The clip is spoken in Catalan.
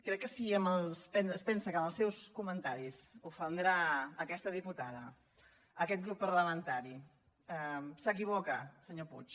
crec que si es pensa que amb els seus comentaris ofendrà aquesta diputada aquest grup parlamentari s’equivoca senyor puig